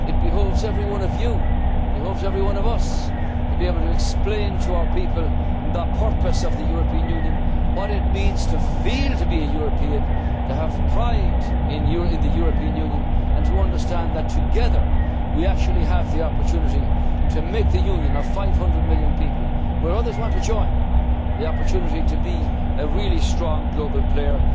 citizen. It behoves every one of you every one of us to be able to explain to our people the purpose of the European Union what it means to feel to be a European, to have pride in the European Union and to understand that, together, we have the opportunity to make the Union of 500 million people which others want to join the opportunity to be a really strong global